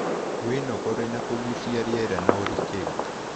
Wĩnogore na kũgucia rĩera na ũrikĩrũ